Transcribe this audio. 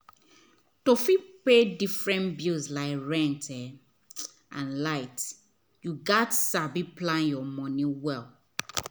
to fit pay different bills like rent um and light gats sabi plan your moni well